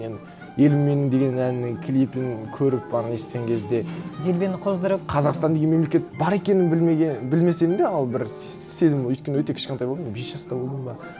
мен елім менің деген әннің клипін көріп ана естіген кезде делбені қоздырып қазақстан деген мемлекет бар екенін білмесем де ол бір сезім өйткені өте кішкентай болдым мен бес жаста болдым ба